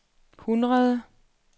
hundrede